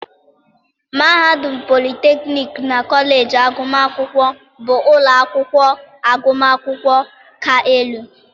mahadum, polytechnics, na kọleji agụmakwụkwọ bụ ụlọ akwụkwọ agụmakwụkwọ ka elu